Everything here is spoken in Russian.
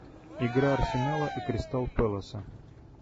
игра арсенала и кристал пэласа